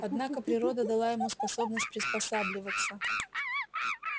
однако природа дала ему способность приспосабливаться